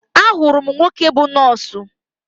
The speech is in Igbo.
Ahụrụ m nwoke bú nọọsụ